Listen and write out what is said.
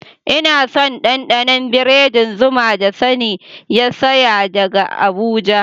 Ina son dandanon biredin zuma da Sani ya saya daga abuja.